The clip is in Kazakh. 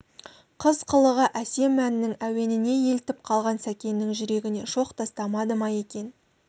қыз қылығы әсем әннің әуеніне елтіп қалған сәкеннің жүрегіне шоқ тастамады ма екен